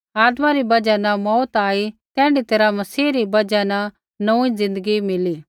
आदमा री बजहा न मौऊत आई तैण्ढी तैरहा मसीह री बजहा न नोंऊँई ज़िन्दगी मिली